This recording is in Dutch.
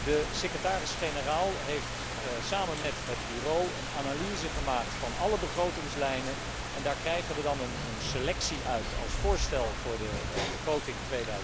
De Secretaris generaal heeft samen met het Bureau een analyse gemaakt van alle begrotingslijnen en daaruit krijgen we dan een selectie als voorstel voor de begroting